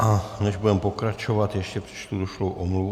A než budeme pokračovat, ještě přečtu došlou omluvu.